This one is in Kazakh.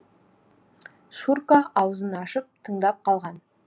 шурка аузын ашып тыңдап қалған